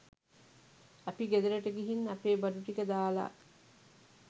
අපි ගෙදරට ගිහින් අපේ බඩු ටික දාලා